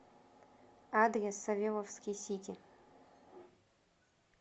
адрес савеловский сити